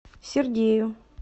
сергею